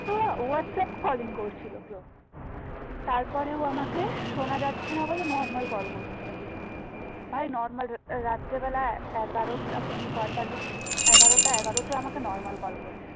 তো ও WhatsApp calling করছিল bro তারপরে ও আমাকে শোনা যাচ্ছেনা বলে normal কল করছে ভাই normal রাত্রে বেলা এগারোটা পঁয়তাল্লিশ এগারোটা এগারোটায় আমাকে normal কল করছে